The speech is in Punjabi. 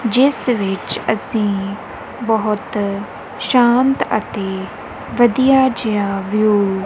ਜਿੱਸ ਵਿੱਚ ਅੱਸੀ ਬੋਹਤ ਸ਼ਾਂਤ ਅਤੇ ਵਧੀਆ ਜਿਹਾ ਵਿਊ --